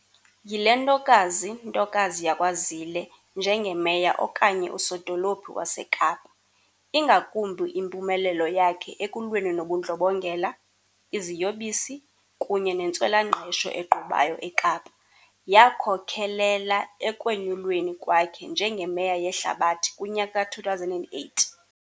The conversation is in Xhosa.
yile ntokazi ntokazi yakwaZille njengeMeya okanye uSodolophi waseKapa, ingakumbi impumelelo yakhe ekulweni nobundlobongela, iziyobisi, kunye nentswela-ngqesho egqubayo eKapa, yakhokhelela ekwenyulweni kwakhe njengeMeya yeHlabathi kunyaka ka2008.